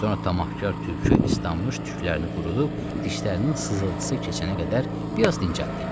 Sonra camaatkar tülkü islanmış tüklərini qurudub, dişlərinin sızıltısı keçənə qədər bir az dincəldi.